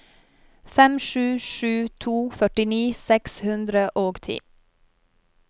fem sju sju to førtini seks hundre og ti